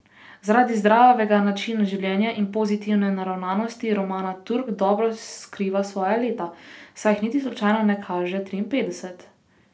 Zaradi zdravega načina življenja in pozitivne naravnanosti Romana Turk dobro skriva svoja leta, saj jih niti slučajno ne kaže triinpetdeset.